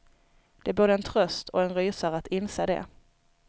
Det är både en tröst och en rysare att inse det.